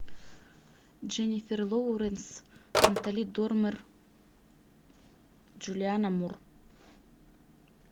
дженифер лоуренс натали дормер джулиана мур